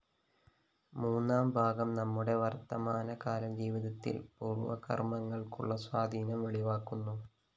മൂന്നാംഭാഗം നമ്മുടെ വര്‍ത്തമാനകാലജീവിതത്തില്‍ പൂര്‍വകര്‍മങ്ങള്‍ക്കുള്ള സ്വാധീനം വെളിവാക്കുന്നു